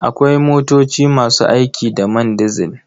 Akwai motoci masu aiki da man dizil.